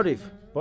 Bana bax!